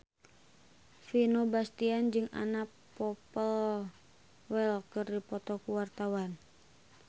Vino Bastian jeung Anna Popplewell keur dipoto ku wartawan